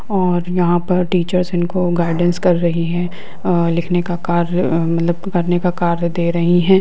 और यहां पर टीचर्स इनको गाइडेंस कर रही है अ लिखने का कार्य मतलब कि पढ़ने का कार्य दे रही है।